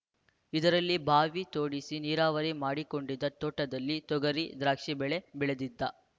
ಇದರಲ್ಲಿ ಬಾವಿ ತೋಡಿಸಿ ನೀರಾವರಿ ಮಾಡಿಕೊಂಡಿದ್ದ ತೋಟದಲ್ಲಿ ತೊಗರಿ ದ್ರಾಕ್ಷಿ ಬೆಳೆ ಬೆಳೆದಿದ್ದ